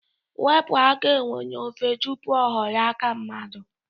Wepụ aka enwe n'ofe tụpụ ọ ghọrọ aka mmadụ